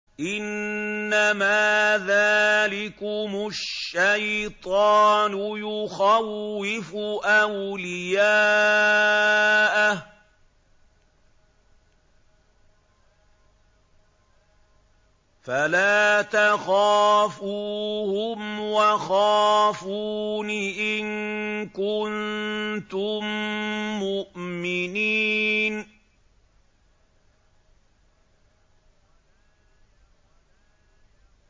إِنَّمَا ذَٰلِكُمُ الشَّيْطَانُ يُخَوِّفُ أَوْلِيَاءَهُ فَلَا تَخَافُوهُمْ وَخَافُونِ إِن كُنتُم مُّؤْمِنِينَ